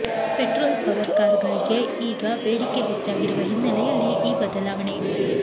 petrol power ಕಾರುಗಳಿಗೆ ಈಗ ಬೇಡಿಕೆ ಹೆಚ್ಚಾಗಿರುವ ಹಿನ್ನೆಲೆಯಲ್ಲಿ ಈ ಬದಲಾವಣೆ